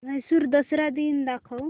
म्हैसूर दसरा दिन दाखव